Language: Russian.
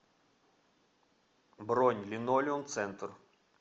бронь линолеум центр